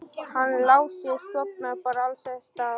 Hann Lási sofnar bara alls staðar.